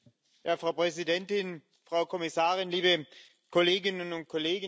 Frau Präsidentin, Frau Kommissarin, liebe Kolleginnen und Kollegen!